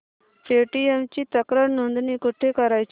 Paytm ची तक्रार नोंदणी कुठे करायची